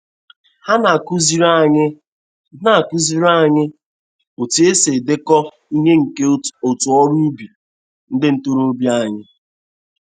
Ha na-akụziri anyị na-akụziri anyị otu e si edekọ ihe nke otu ọrụ ubi ndị ntorobịa anyị.